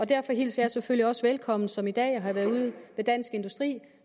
derfor hilser jeg selvfølgelig også velkommen som i dag hvor jeg har været ude ved dansk industri at